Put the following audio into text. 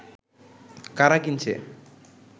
কারা কিনছে